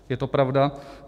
Je to pravda.